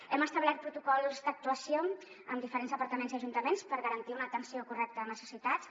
hem establert protocols d’actuació amb diferents departaments i ajuntaments per garantir una atenció correcta de necessitats